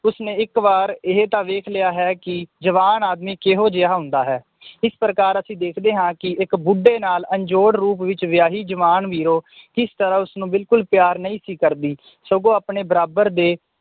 ਉਸਨੇ ਇੱਕ ਵਾਰ ਇਹ ਤਾਂ ਵੇਖ ਲਿਆ ਹੈ ਕਿ ਜਵਾਨ ਆਦਮੀ ਕਿਹੋ ਜੇਹਾ ਹੁੰਦਾ ਹੈ ਇਸ ਪ੍ਰਕਾਰ ਅਸੀ ਵੇਖਦੇ ਹਾਂ ਕਿ ਇੱਕ ਬੁੱਢੇ ਨਾਲ ਅਣਜੋੜ ਰੂਪ ਵਿਚ ਵੇਯਾਹੀ ਜਵਾਨ ਵੀਰੋ ਕਿਸ ਤਰਾਹ ਉਸਨੂੰ ਬਿਲਕੁੱਲ ਪਿਆਰ ਨਈ ਸੀ ਕਰਦੀ ਸਗੋਂ ਆਪਣੇ ਬਰਾਬਰ ਦੇ